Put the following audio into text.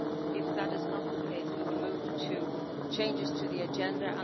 If that is not the case, we will move to changes to the agenda.